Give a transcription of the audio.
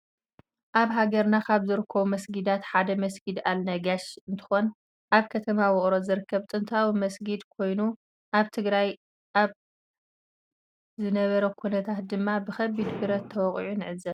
አብ ሃገርና ካብ ዝርከቡ መስጊዳታት ሓደ መስጊድ አል ነጋሽ እንትኮን አብ ከተማ ውቅሮ ዝርከብ ጥንታዊ መስጊድ ኮይኑ አብ ትግራይ አብ ዝነበረ ኩናት ድማ ብከቢድ ብረት ተወቂዑ ንዕዘብ ።